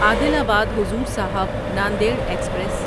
عادل آباد حضور صاحب ناندیڈ ایکسپریس